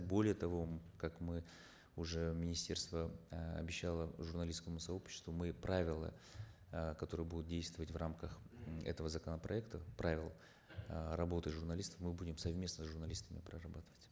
более того как мы уже министерство э обещало журналистскому сообществу мы правила э которые будут действовать в рамках этого законопроекта правила э работы журналистов мы будем совместно с журналистами прорабатывать